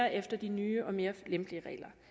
efter de nye og mere lempelige regler